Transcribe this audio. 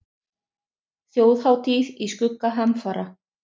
Þjóðhátíð í skugga hamfara